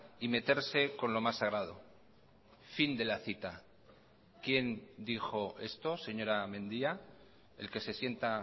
y meterse con lo más sagrado fin de la cita quien dijo esto señora mendia el que se sienta